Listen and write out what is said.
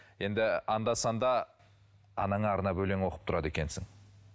енді анда санда анаңа арнап өлең оқып тұрады екенсің